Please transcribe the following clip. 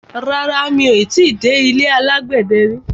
Rárá, mi ò ti dé ilé alágbẹ̀dẹ rí.